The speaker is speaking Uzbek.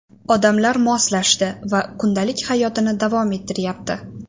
Odamlar moslashdi va kundalik hayotini davom ettiryapti.